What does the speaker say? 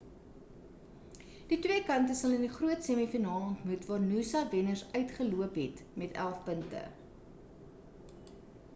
die twee kante sal in die groot semi-finaal ontmoet waar noosa wenners uitgeloop het met 11 punte